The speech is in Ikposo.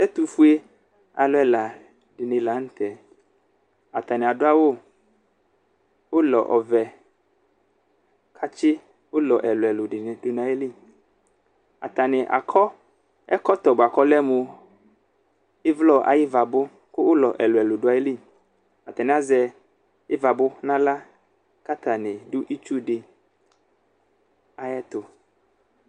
Ɛtʋfue alʋ dini lanʋtɛ atani adʋ awʋ ʋlɔ ɔvɛ kʋ atsi ɛlʋ ɛlʋ ɛlʋ dini dʋ nʋ ayili atani akɔ ɛkɔtɔ bʋakʋ ɔlɛmʋ ivlɔ ayʋ ivabʋ kʋ ʋlɔ ɛlʋ ɛlʋ dʋ ayili atani azɛ ivabʋ nʋ aɣla kʋ atani dʋ itsu di ayʋ ɛtʋ